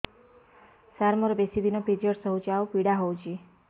ସାର ମୋର ବେଶୀ ଦିନ ପିରୀଅଡ଼ସ ହଉଚି ଆଉ ପୀଡା ହଉଚି